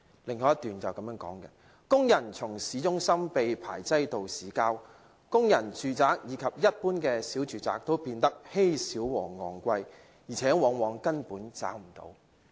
"以下是另一段："工人從市中心被排擠到市郊；工人住宅以及一般小住宅都變得稀少和昂貴，而且往往根本找不到"。